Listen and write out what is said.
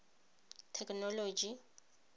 thekenoloji